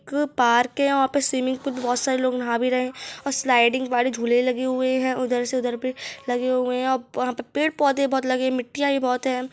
एक पार्क हैं वहाँ पे स्विमिंग पूल पे बहुत सारे लोग नहां भी रहे हैं और स्लाइडिंग वाले झूले भी लगे हुए हैं उधर से उधर भी लगे हुए हैंऔर वहाँ पे पेड़ पौधे बहुत लगे हैं मिट्टियाँ भी बहुत हैं।